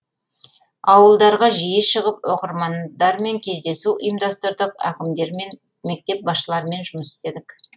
ауылдарға жиі шығып оқырмандармен кездесу ұйымдастырдық әкімдермен мектеп басшыларымен жұмыс істедік